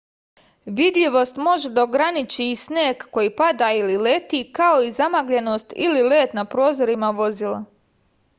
vidljivost može da ograniči i sneg koji pada ili leti kao i zamagljenost ili led na prozorima vozila